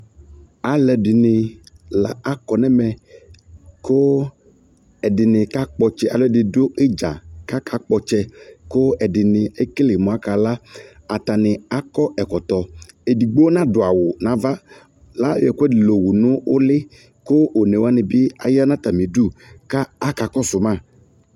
Alu ɛdini la akɔ nu ɛmɛ ku ɛ dini kakpɔ ɔtsɛ alu ɛdi du idza ku akakpɔ ɔtsɛ ku ɛdini ekele mu akala atani akɔ ɛkɔtɔ edigbo nadu awu nu ava layɔ ɛkuedi la wu nu uli ku onewani bi ya nu atami udu ku akakɔsu ma